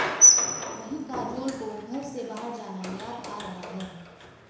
वहीं काजोल को घर से बाहर जाना याद आ रहा है